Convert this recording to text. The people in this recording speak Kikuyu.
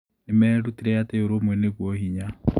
Nĩ merutire atĩ ũrũmwe nĩguo hinya.